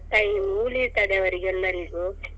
Time ಉ ಉಳಿತದೆ ಅವರಿಗೆಲ್ಲರಿಗೂ.